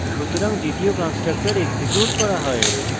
সুতরাং দ্বিতীয় constructor execute করা হয়